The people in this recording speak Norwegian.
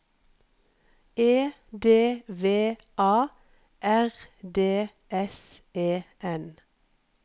E D V A R D S E N